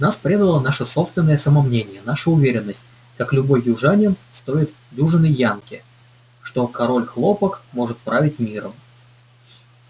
нас предало наше собственное самомнение наша уверенность как любой южанин стоит дюжины янки что король хлопок может править миром